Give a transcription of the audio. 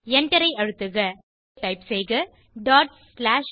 எண்டரை அழுத்துக இப்போது டைப் செய்க val